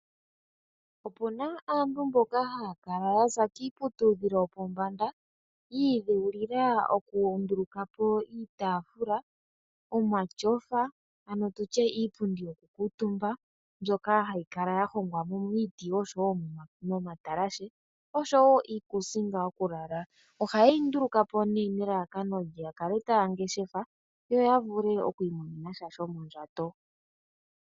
Opuna aantu mboka haya kala ya za kiiputudhilo yopombanda yiidhewulila okundulukapo iitaafula, omatyofa ano tutye iipundi yo ku kuutumba mbyoka hayi kala ya hongwa miiti oshowo momatalashe oshowo iikuusinga yo ku lala. Ohayeyi ndulukapo ne nelalakano ya kale taya ngeshefa yoya vule okwiimonena sha shomondjato.